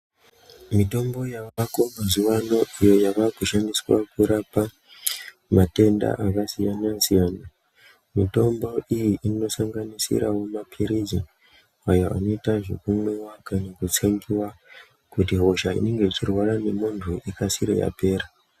Mitombo yavako mazuva ano iyo yavaku shandiswa kurapa matenda aka siyana siyana mutombo iyi ino sanganisirawo mapirisi awo anoita zvekumwiwa kana kutsengiwa kuti hosha inenge ichirwara nge muntu ikasire yapera.